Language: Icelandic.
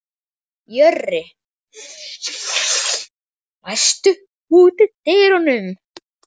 Jörri, læstu útidyrunum.